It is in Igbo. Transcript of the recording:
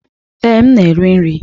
Ee, m na-eri nri.